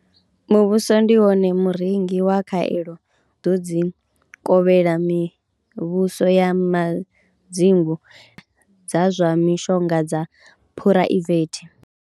Muvhuso ndi wone murengi wa khaelo dzi kovhela mivhuso ya madzingu na dza zwa mishonga dza phuraivethe.